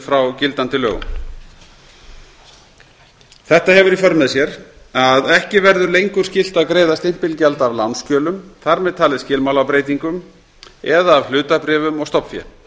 frá gildandi lögum þetta hefur í för með sér að ekki verður lengur skylt að greiða stimpilgjald af lánsskjölum þar með talið skilmálabreytingum eða af hlutabréfum og stofnfé